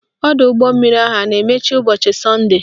Ọdọụgbọmmiri ahụ a na-emechi ụbọchị sọnde?